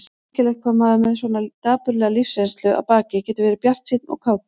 Merkilegt hvað maður með svona dapurlega lífsreynslu að baki getur verið bjartsýnn og kátur.